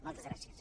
moltes gràcies